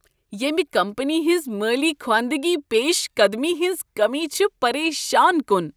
ییمِہ کمپنی ہنز مٲلی خواندگی پیش قدمی ہنز کمی چھ پریشان کن۔